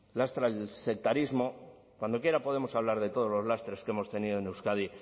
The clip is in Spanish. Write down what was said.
lastra el sectarismo cuando quiera podemos hablar de todos los lastres que hemos tenido en euskadi